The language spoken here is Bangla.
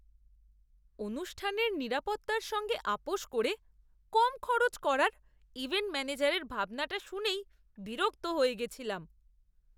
অনুষ্ঠানের নিরাপত্তার সঙ্গে আপোস করে কম খরচ করার ইভেন্ট ম্যানেজারের ভাবনাটা শুনেই বিরক্ত হয়ে গেছিলাম।